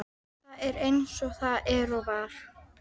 Það er eins og það er og var.